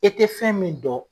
E te fɛn min dɔn